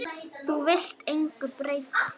Þú vilt engu breyta.